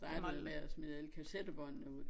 Startede med at smide alle kassettebåndene ud